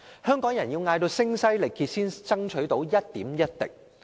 香港人要聲嘶力竭才爭取到一點一滴。